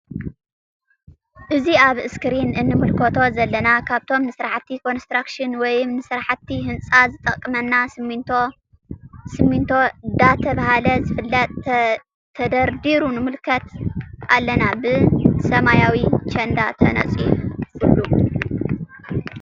እዚ አብ እስክሪን እንምልከቶ ዘለና ካብቶም ንስራሕቲ ኮንስትራክሽን ወይም ንምስራሕ ህንፃ ዝጠቅመና ስሚንቶ ዳተብሃለ ዝፍለጥ::ተደርዲሩ ንምልከት አለና ብ ሰማያዊ ቸንዳ ተነፂፉሉ ::